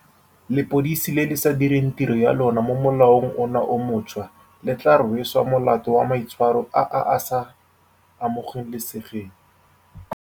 Lepodisi le le sa direng tiro ya lona mo molaong ono o montšhwa le tla rweswa molato wa maitshwaro a a sa amoge lesegeng.